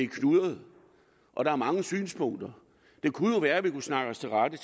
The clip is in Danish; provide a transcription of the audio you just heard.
knudret og der er mange synspunkter det kunne jo være at vi kunne snakke os til rette og